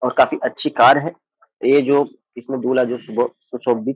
औ काफी अच्छी कार है ए जो इसमे दूल्हा जो सुभो सुशोभित --